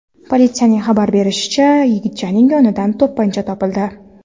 Politsiyaning xabar berishicha, yigitchaning yonidan to‘pponcha topildi.